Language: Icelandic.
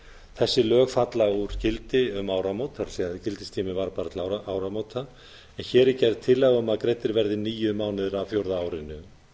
þessi lög falla úr gildi það er gildistíminn var bara til áramóta en hér er gerð tillaga um að greiddir verði níu mánuðir af fjórða árinu